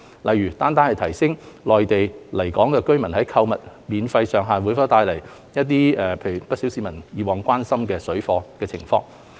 例如，單單提升內地來港人士在港的購物免稅上限會否帶來不少市民以往關心的水貨活動情況。